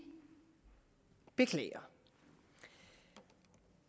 beklager